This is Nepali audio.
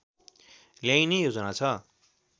ल्याइने योजना छ